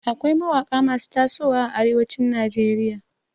Akwai mawaƙa masu tasowa a arewacin Najeriya.